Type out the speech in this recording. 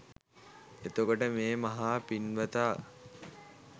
එතකොට මේ මහා පින්වතා